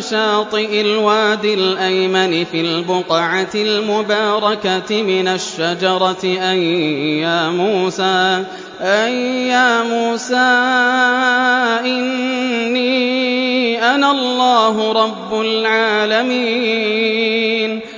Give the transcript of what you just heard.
شَاطِئِ الْوَادِ الْأَيْمَنِ فِي الْبُقْعَةِ الْمُبَارَكَةِ مِنَ الشَّجَرَةِ أَن يَا مُوسَىٰ إِنِّي أَنَا اللَّهُ رَبُّ الْعَالَمِينَ